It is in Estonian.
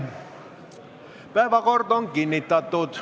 Päevakord on kinnitatud.